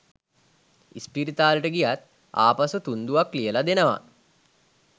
ඉස්පිරිතාලෙට ගියත් ආපසු තුන්ඩුවක් ලියලා දෙනවා